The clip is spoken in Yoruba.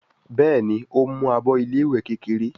Béèni o ń mú àbọ ilé ìwé kékeré.